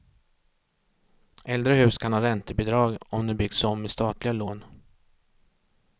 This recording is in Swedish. Äldre hus kan ha räntebidrag, om de byggts om med statliga lån.